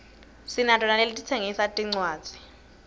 sinato naletitsengisa tincwadzi